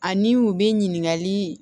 Ani u bɛ ɲininkali